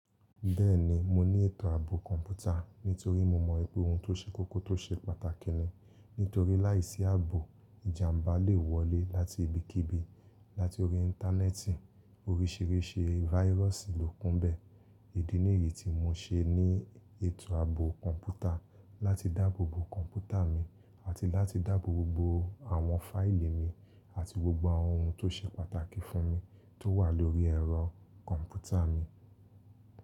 Bẹ́ẹ̀ni, mo ní ètò ààbò kọ̀ǹpútà nítorí mo mọ pé ohun tó ṣe kókó tó ṣe pàtàkì ni. Nítorí láìsí ààbò ìjàmbá le wọlé láti ibikíbi láti orí íńtánẹ́ẹ̀tì oríṣìíríṣìí fáírọ̀sì ló kún bẹ. Ìdí nìyí tí mo ṣe ní ètò ààbò kọ̀ǹpútà láti dáàbò bo kọ̀ǹpútà mi àti láti dáàbò bo gbogbo àwọn fáìlì mi àti gbogbo àwon ohun tó ṣe pàtàkì fún mi tó wà lórí ẹ̀rọ kọ̀ǹpútà mi.